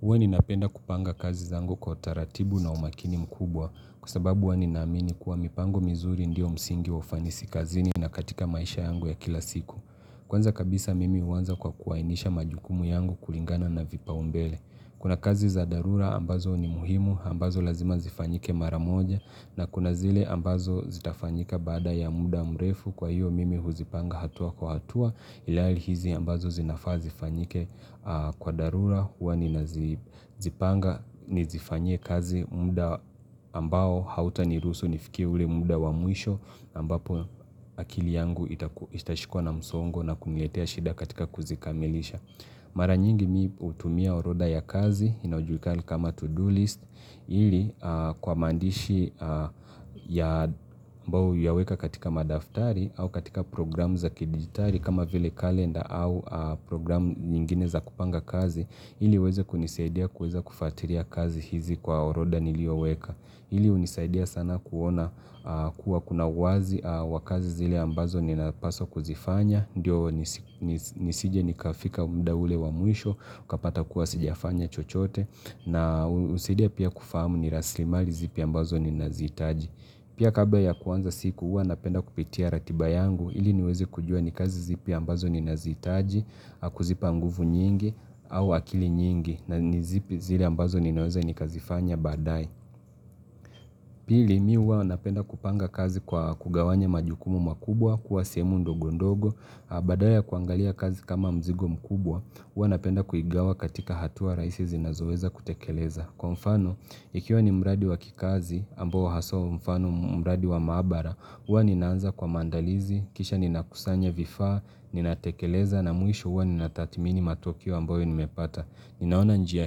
Huwa ninapenda kupanga kazi zangu kwa taratibu na umakini mkubwa kwa sababu huwa ninaamini kuwa mipango mizuri ndio msingi ufanisi kazini na katika maisha yangu ya kila siku. Kwanza kabisa mimi huanza kwa kuainisha majukumu yangu kulingana na vipaumbele. Kuna kazi za dharura ambazo ni muhimu ambazo lazima zifanyike mara moja na kuna zile ambazo zitafanyika baada ya muda mrefu kwa hiyo mimi huzipanga hatua kwa hatua ilihali izi ambazo zinafaa zifanyike kwa dharura. Hua ninazipanga, nizifanyie kazi muda ambao hautaniruhusu nifikie ule muda wa mwisho ambapo akili yangu itashikwa na msongo na kuniletea shida katika kuzikamilisha Mara nyingi mi hutumia orodha ya kazi inaojulikana kama to-do list ili kwa maandishi ambao huyaweka katika madaftari au katika programu za kidigitari kama vile kalenda au programu nyingine za kupanga kazi ili iweze kunisaidia kuweza kufatiria kazi hizi kwa oroda nilioweka. Ili hunisaidia sana kuona kuwa kuna uwazi wa kazi zile ambazo ninapaswa kuzifanya. Ndiyo nisije nikafika mda ule wa mwisho. Kapata kuwa sijafanya chochote. Na husaidia pia kufahamu ni rasilimali zipi ambazo ninazihitaji. Pia kabla ya kuanza siku, huwa napenda kupitia ratiba yangu ili niwezi kujua ni kazi zipi ambazo ninazihitaji, kuzipa nguvu nyingi au akili nyingi na ni zipi zile ambazo ninaweza nikazifanya badae Pili, mi huwa napenda kupanga kazi kwa kugawanya majukumu makubwa kuwa sehemu ndogondogo, badala ya kuangalia kazi kama mzigo mkubwa, huwa napenda kuigawa katika hatua raisi zinazoweza kutekeleza. Kwa mfano, ikiwa ni mradi wa kikazi ambao haswa mfano mradi wa maabara, uwa ninaanza kwa mandalizi, kisha ninakusanya vifaa, ninatekeleza na mwisho huwa ninathatimini matokeo ambayo nimepata. Ninaona njia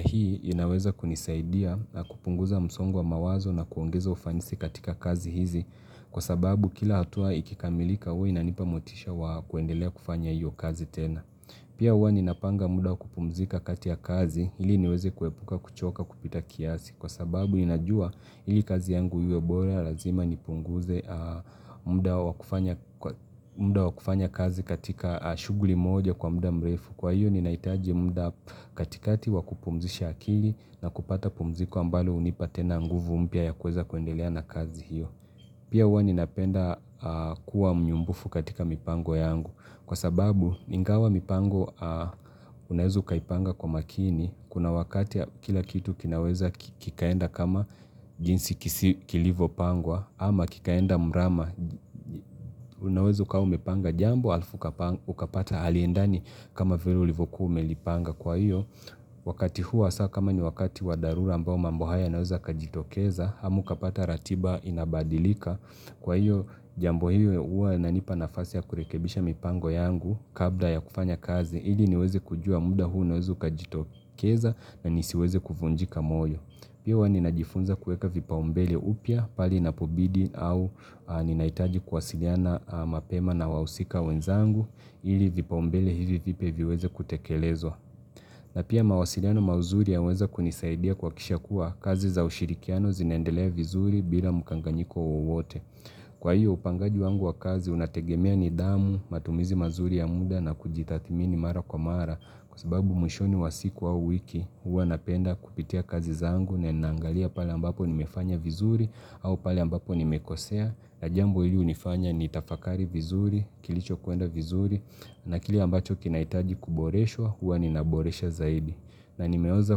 hii, inaweza kunisaidia na kupunguza msongo wa mawazo na kuongeza ufanisi katika kazi hizi, kwa sababu kila hatua ikikamilika uwa inanipa motisha wa kuendelea kufanya hiyo kazi tena. Pia uwa ninapanga muda wa kupumzika kati ya kazi ili niweze kuepuka kuchoka kupita kiasi kwa sababu ninajua ili kazi yangu iwe bora razima nipunguze muda wa kufanya kazi katika shuguli moja kwa muda mrefu kwa hiyo ninahitaji muda katikati wa kupumzisha akili na kupata pumziko ambalo hunipa tena nguvu mpya ya kuweza kuendelea na kazi hiyo. Pia huwa ninapenda kuwa mnyumbufu katika mipango yangu kwa sababu ningawa mipango unaeza ukaipanga kwa makini kuna wakati kila kitu kinaweza kikaenda kama jinsi kilivopangwa ama kikaenda mrama unaweza ukawa umepanga jambo alafu ukapata aliendani kama vire ulivyokuwa umelipanga kwa hiyo. Wakati huu hasaa kama ni wakati wa dharura ambao mambo haya yanaweza yakajitokeza hama ukapata ratiba inabadilika Kwa hiyo jambo hiyo ua inanipa nafasi ya kurekebisha mipango yangu Kabla ya kufanya kazi ili niweze kujua muda huu unaweza ukajitokeza na nisiweze kuvunjika moyo Pia huwa ninajifunza kueka vipaumbele upya pahali inapobidi au ninahitaji kuwasiliana mapema na wahusika wenzangu ili vipaumbele hivi viweze kutekelezwa na pia mawasiliano mauzuri yaweza kunisaidia kuhakisha kuwa kazi za ushirikiano zinaendelea vizuri bila mukanganyiko wowote. Kwa hiyo upangaji wangu wa kazi unategemea nidhamu, matumizi mazuri ya muda na kujitathmini mara kwa mara kwa sababu mwishoni wa siku au wiki huwa napenda kupitia kazi zangu na ninangalia pale ambapo nimefanya vizuri au pale ambapo nimekosea. Na jambo hili unifanya nitafakari vizuri, kilicho kuenda vizuri, na kile ambacho kinahitaji kuboreshwa, huwa ninaboresha zaidi. Na nimeweza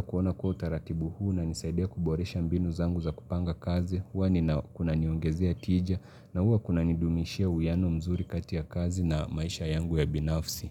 kuona kuwa utaratibu huu na unanisaidia kuboresha mbinu zangu za kupanga kazi, huwa ni kunaniongezea tija, na huwa kunanidumishia uwiano mzuri kati ya kazi na maisha yangu ya binafsi.